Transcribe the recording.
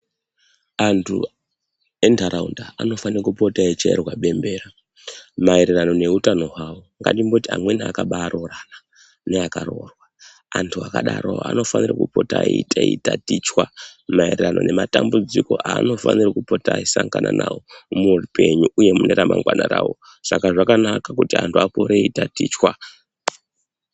Antu endaraunda anofane kupota eyi chairwa bembera maererano ne utano hwawo ngatimboti amweni akaba roorana ne aka rorwa antu akadaro anofanira kupota eyi tatichwa maererano ne matambudziko anofanira kupota eyi sangana nawo mu upenyu uye mune ramangwana ravo saka zvakanaka kuti antu akure eyi tatichwa.